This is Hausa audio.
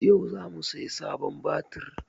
Yau za mu sayi sabon batir